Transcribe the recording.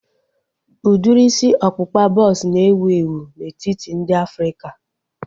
Udiri isi ọkpụkpa bọks na-ewu ewu n'etiti ndị Afrịka